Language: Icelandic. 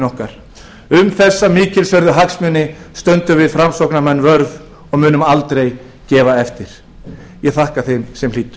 okkar um þessa mikilsverðu hagsmuni munum við framsóknarmenn standa vörð og aldrei gefa eftir ég þakka þeim sem hlýddu